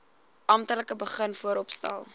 amptelik begin vooropstel